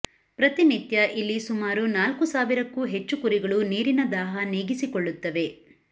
ಪ್ರತಿನಿತ್ಯ ಇಲ್ಲಿ ಸುಮಾರು ನಾಲ್ಕು ಸಾವಿರಕ್ಕೂ ಹೆಚ್ಚು ಕುರಿಗಳು ನೀರಿನ ದಾಹ ನೀಗಿಸಿಕೊಳ್ಳುತ್ತವೆ